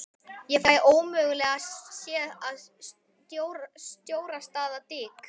Ég fæ ómögulega séð að stjórastaða Dik